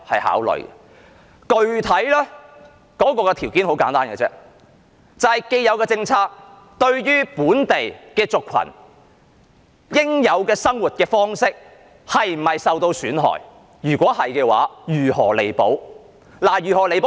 考慮的具體條件很簡單，就是現有的政策會否令本地族群的應有生活方式受到損害；若是，應該如何作彌補。